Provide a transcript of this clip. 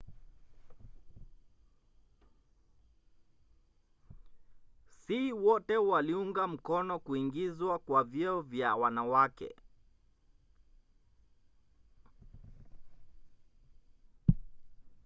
si wote waliunga mkono kuingizwa kwa vyeo vya wanawake